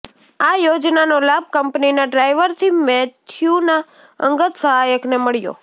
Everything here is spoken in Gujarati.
આ યોજનાનો લાભ કંપનીના ડ્રાઈવરથી મેથ્યુના અંગત સહાયકને મળ્યો